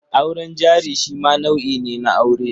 Auren jari shi ma nau'i ne na aure.